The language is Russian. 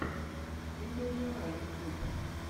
видеожара ютьюб